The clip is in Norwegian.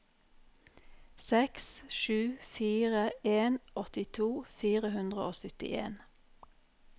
seks sju fire en åttito fire hundre og syttien